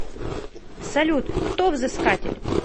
салют кто взыскатель